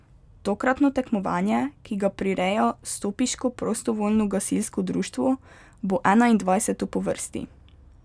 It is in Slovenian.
Tokratno tekmovanje, ki ga prireja stopiško prostovoljno gasilsko društvo, bo enaindvajseto po vrsti.